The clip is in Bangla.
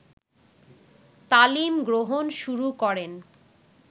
তালিম গ্রহণ শুরু করেন